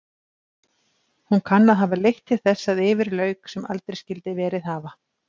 Hún kann að hafa leitt til þess að yfir lauk sem aldrei skyldi verið hafa.